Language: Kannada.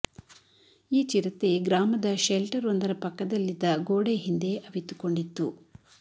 ಈ ಚಿರತೆ ಗ್ರಾಮದ ಶೆಲ್ಟರ್ ಒಂದರ ಪಕ್ಕದಲ್ಲಿದ್ದ ಗೋಡೆ ಹಿಂದೆ ಅವಿತುಕೊಂಡಿತ್ತು